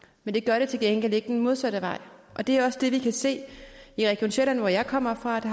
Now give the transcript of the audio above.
men det gør det til gengæld ikke den modsatte vej og det er også det vi kan se i region sjælland hvor jeg kommer fra